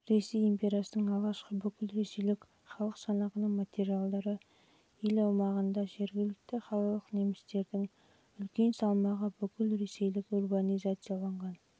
ресей империясының жылғы алғашқы бүкілресейлік халық санағының материалдары ел аумағында жергілікті қалалық немістердің үлес салмағы бүкілресейлік урбанизацияланған